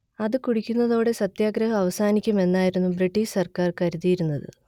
അതുകുടിക്കുന്നതോടെ സത്യാഗ്രഹം അവസാനിക്കും എന്നായിരുന്നു ബ്രിട്ടീഷ് സർക്കാർ കരുതിയിരുന്നത്